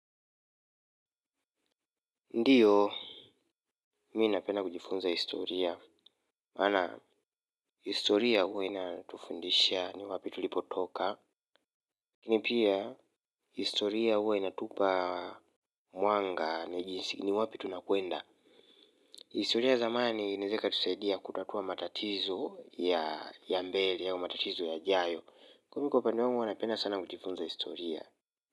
Ndiyo, mimi napena kujifunza historia. Maana, historia huwa inatufundisha ni wapi tulipotoka. Ni pia, historia huwa inatupa mwanga na jinsi ni wapi tunakwenda. Historia ya zamani, inaeza ikatusaidia kutatua matatizo ya mbele au matatizo ya jayo. Mimi kwa upande wangu, huwa napenda sana kujifunza historia.